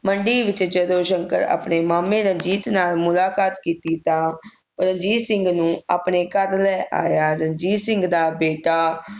ਮੰਡੀ ਵਿਚ ਜਦੋਂ ਸ਼ੰਕਰ ਆਪਣੇ ਮਾਮੇ ਰਣਜੀਤ ਨਾਲ ਮੁਲਾਕਾਤ ਕੀਤੀ ਤਾਂ ਰਣਜੀਤ ਸਿੰਘ ਨੂੰ ਆਪਣੇ ਘਰ ਲੈ ਆਇਆ ਰਣਜੀਤ ਸਿੰਘ ਦਾ ਬੀਟਾ